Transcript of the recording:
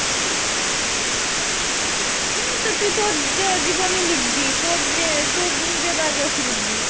হম তুই তোর যে জীবনী লিখবি, তোর যে তোর নিজের biography লিখবি,